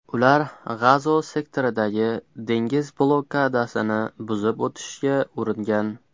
Ular G‘azo sektoridagi dengiz blokadasini buzib o‘tishga uringan.